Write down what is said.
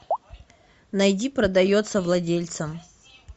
найди продается владельцем